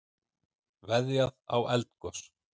Veðjað á eldgos